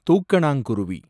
தூக்கணாங்குருவி